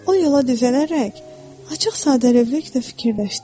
O yola düzələrək açıq-sadəlövlükdə fikirləşdi: